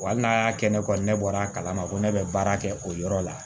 Wa hali n'a y'a kɛ ne kɔni ne bɔra a kalama ko ne bɛ baara kɛ o yɔrɔ la